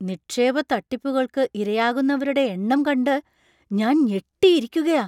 നിക്ഷേപ തട്ടിപ്പുകൾക്ക് ഇരയാകുന്നവരുടെ എണ്ണം കണ്ട് ഞാൻ ഞെട്ടിയിരിക്കുകാ.